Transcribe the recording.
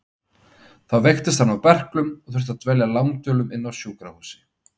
Þá veiktist hann af berklum og þurfti að dvelja langdvölum á sjúkrahúsi.